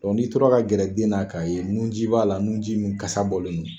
n'i tora ka gɛrɛ den na k'a ye nun ji b'a la nun ji min kasa bɔlen don